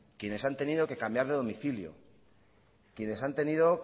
quienes han tenido que cambiar de domicilio quienes han tenido